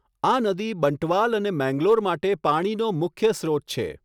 આ નદી બંટવાલ અને મેંગ્લોર માટે પાણીનો મુખ્ય સ્ત્રોત છે.